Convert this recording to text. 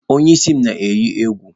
Onye isi m eyi egwu